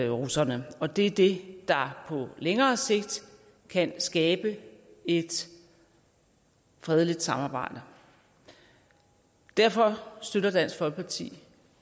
russerne og det er det der på længere sigt kan skabe et fredeligt samarbejde derfor støtter dansk folkeparti